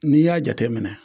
N'i y'a jateminɛ